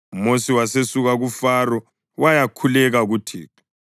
UMosi wasesuka kuFaro wayakhuleka kuThixo.